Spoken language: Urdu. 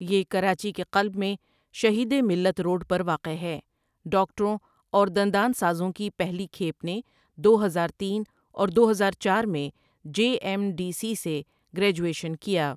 یہ کراچی کے قلب میں شہید ملت روڈ پر واقع ہے ڈاکٹروں اور دندان سازوں کی پہلی کھیپ نے دو ہزار تین اور دوہزار چار میں جے ایم ڈی سی سے گریجویشن کیا ۔